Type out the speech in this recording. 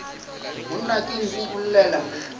monna ke nku o llela